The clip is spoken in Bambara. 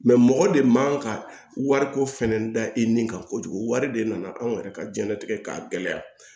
mɔgɔ de man ka wariko fana da i ni kan kojugu wari de nana anw yɛrɛ ka diɲɛnatigɛ k'a gɛlɛya